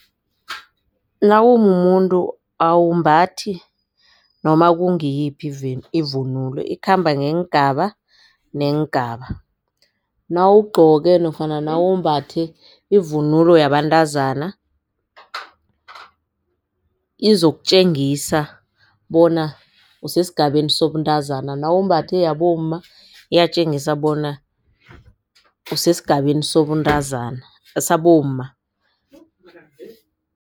Nawumumuntu awumbathi noma kungiyiphi ivunulo ikhamba ngeengaba neengaba. Nawugcoke nofana nawumbathe ivunulo yabantazana izokutjengisa bona usesigabeni sobuntazana nawumbathe yabomma iyatjengisa bona usesigabeni sobuntazana sabomma.